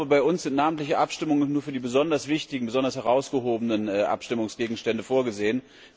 Bei uns sind namentliche Abstimmungen nur für die besonders wichtigen, besonders herausragenden Abstimmungsgegenstände vorgesehen.